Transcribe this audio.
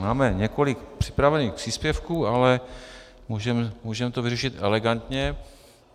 Máme několik připravených příspěvků, ale můžeme to vyřešit elegantně.